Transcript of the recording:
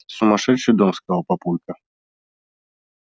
сумасшедший дом сказал папулька